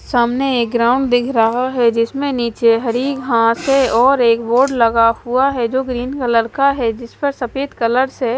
सामने एक ग्राउंड दिख रहा है जिसमें नीचे हरी घास है और एक बोर्ड लगा हुआ है जो ग्रीन कलर का है जिस पर सफेद कलर से --